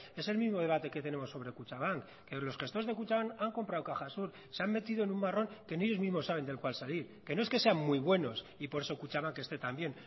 es el mismo debate que tenemos sobre kutxabank que los gestores de kutxabank han comprado caja sur se han metido en un marrón que ni ellos mismos saben del cual salir que no es que sean muy buenos y por eso kutxabank esté tan bien